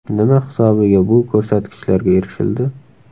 Nima hisobiga bu ko‘rsatkichlarga erishildi?